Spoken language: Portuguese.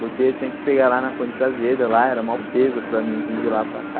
Porque eu tinha que pegar lá na Coisa Azeda, lá era mó peso para mim vim de lá pra cá.